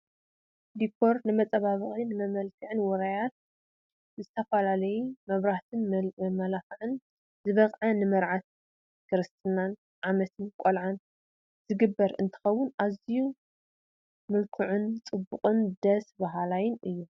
ዲኮር ንመፀባበቂን መመልክዕን ውራያት ብዝተፈላለዩ መብራህትን መመላክዕን ዝወቀበ ንመርዓን ክርስትናን ዓመት ቆልዓን ዝግበር እንትከውን ኣዚዩ ምልኩዕን ፅቡቅን ደስ ባሃላይን እዩ።